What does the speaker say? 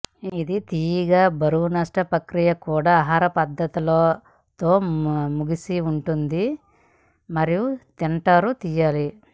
ఇది తీయగా బరువు నష్టం ప్రక్రియ కూడా ఆహార పద్ధతులలో తో ముగిసిన ఉంటుంది మరియు తింటారు చేయాలి